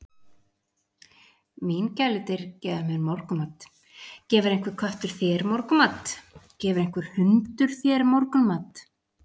Mín gæludýr gefa mér morgunmat, gefur einhver köttur þér morgunmat, gefur einhver hundur þér morgunmat?